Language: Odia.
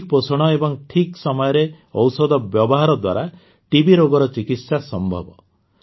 ସଠିକ୍ ପୋଷଣ ଏବଂ ଠିକ୍ ସମୟରେ ଔଷଧ ବ୍ୟବହାର ଦ୍ୱାରା ଟିବି ରୋଗର ଚିକିତ୍ସା ସମ୍ଭବ